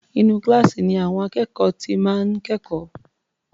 Inú kíláàsì ni àwọn akẹ́kọ̀ọ́ ti máa ń kẹ́kọ̀ọ́.